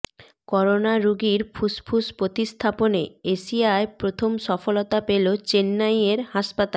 corona রোগীর ফুসফুস প্রতিস্থাপনে এশিয়ায় প্রথম সফলতা পেল চেন্নাইয়ের হাসপাতাল